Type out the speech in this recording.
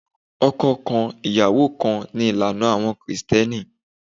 Ọkọ kan, ìyàwó kan, ni ìlànà àwọn Kristẹni.